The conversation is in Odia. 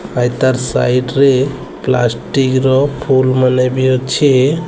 ଭାଇ ତାର ସାଇଟ୍ ରେ ପ୍ଲାଷ୍ଟିକ ର ଫୁଲ୍ ମାନେ ବି ଅଛି।